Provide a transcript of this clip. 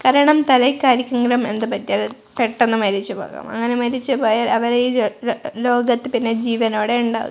കാരണം തലയ്ക്ക് ആരക്കെങ്കിലും എന്തുപറ്റിയാലും പെട്ടെന്ന് മരിച്ചു പോകാം അങ്ങനെ മരിച്ച് പോയാൽ അവരി ലോ ലോ ലോകത്ത് പിന്നെ ജീവനോടെ ഉണ്ടാവു--